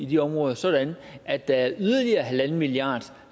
de områder sådan at der er yderligere en milliard